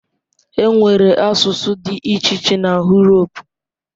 Enwere asụsụ dị iche iche na Uropu.